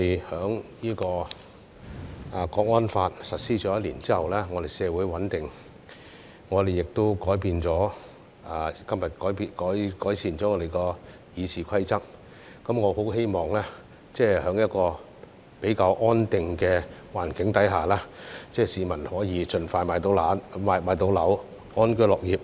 《香港國安法》實施1年後，我們社會穩定，今天我們已改善了《議事規則》，我很希望在一個比較安定的環境下，市民可以盡快買到樓，安居樂業。